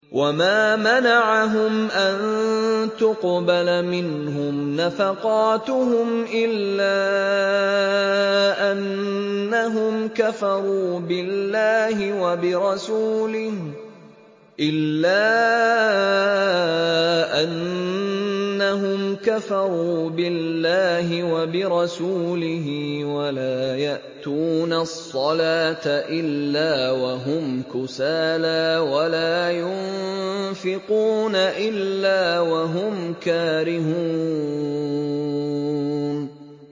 وَمَا مَنَعَهُمْ أَن تُقْبَلَ مِنْهُمْ نَفَقَاتُهُمْ إِلَّا أَنَّهُمْ كَفَرُوا بِاللَّهِ وَبِرَسُولِهِ وَلَا يَأْتُونَ الصَّلَاةَ إِلَّا وَهُمْ كُسَالَىٰ وَلَا يُنفِقُونَ إِلَّا وَهُمْ كَارِهُونَ